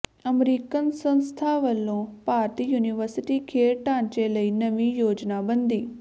American ਸੰਸਥਾ ਵੱਲੋਂ ਭਾਰਤੀ ਯੂਨੀਵਰਸਿਟੀ ਖੇਡ ਢਾਂਚੇ ਲਈ ਨਵੀਂ ਯੋਜਨਾਬੰਦੀ